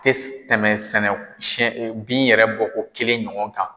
Tɛ tɛmɛ sɛnɛ siyɛn bin yɛrɛ bɔko kelen kan.